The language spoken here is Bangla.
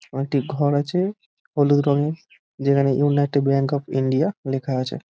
উহা একটি ঘর আছে হলুদ রঙের যেখানে ইউনাইটেড ব্যাঙ্ক অফ ইন্ডিয়া লেখা আছে ।